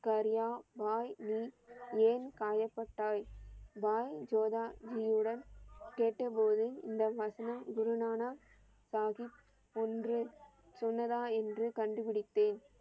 ஹரியா பாய் நீ ஏன் காயப்பட்டாய் பாய் ஜோதா ஜியுடன் கேட்டப்போது இந்த வசனம் குரு நானக் சாகிப் புன்று சொன்னதா என்று கண்டுப்பிடித்தேன்.